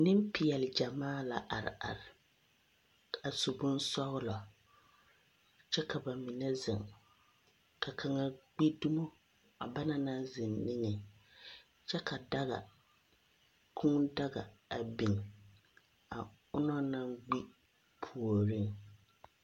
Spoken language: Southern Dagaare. Nempeɛle gyamaa la are are a su bonsɔglɔ, kyɛ ka ba mine zeŋ. Ka kaŋa gbi dumo a bana naŋ zeŋ niŋeŋ, kyɛ ka daga, kūū daga a biŋ a onaŋ naŋ gbi puoriŋ.